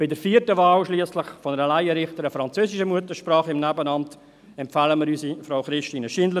Bei der vierten Wahl einer Laienrichterin französischer Muttersprache im Nebenamt schliesslich empfehlen wir unsere Frau Christine Schindler.